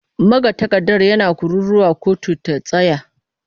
Magatakarda yana kururuwa 'kotu ta tsaya!'